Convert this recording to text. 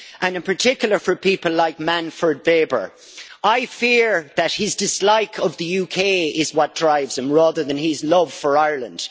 In particular, for people like Manfred Weber, I fear that his dislike of the UK is what drives him rather than his love for Ireland.